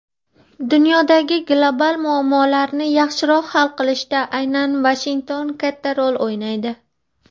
dunyodagi global muammolarni yaxshiroq hal qilishda aynan Vashington katta rol o‘ynaydi.